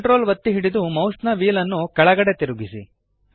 Ctrl ಒತ್ತಿ ಹಿಡಿದು ಮೌಸ್ನ ವ್ಹೀಲ್ ನ್ನು ಕೆಳಗಡೆಗೆ ತಿರುಗಿಸಿ